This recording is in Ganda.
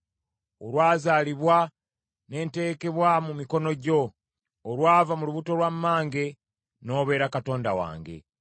Olwazaalibwa ne nteekebwa mu mikono gyo; olwava mu lubuto lwa mmange n’obeera Katonda wange.